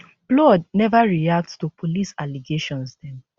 blord neva react to police allegations dem